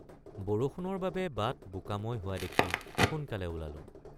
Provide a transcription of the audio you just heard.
বৰষুণৰ বাবে বাট বোকাময় হোৱা দেখি সোনকালে ওলালোঁ।